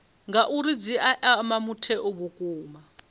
ngauri dzi ea mutheo vhukuma